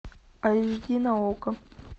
аш ди на окко